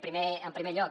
primer en primer lloc